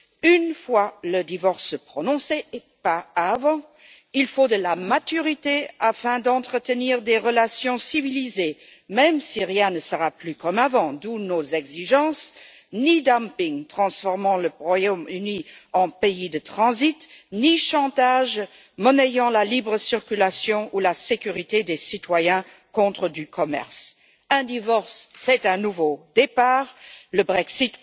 Une fois le divorce prononcé, et pas avant, il faut de la maturité afin d'entretenir des relations civilisées, même si rien ne sera plus comme avant. D'où nos exigences ni dumping transformant le Royaume Uni en pays de transit, ni chantage monnayant la libre circulation ou la sécurité des citoyens contre du commerce. Un divorce, c'est un nouveau départ. Pour nous, le Brexit